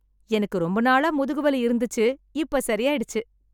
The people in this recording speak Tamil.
எனக்கு ரொம்ப நாளா முதுகு வலி இருந்துச்சு இப்ப சரியாயிடுச்சு.